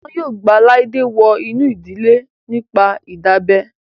Wọn yóò gba Laide wọ inú ìdílé náà nípa ìdábẹ́